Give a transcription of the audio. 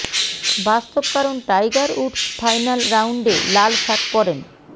বাস্তব কারণ Tiger Woods final রাউন্ডে লাল শার্ট পরেন